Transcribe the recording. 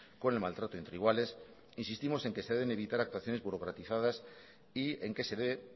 con el maltrato entre iguales insistimos en que se deben evitar actuaciones burocratizadas y en que se debe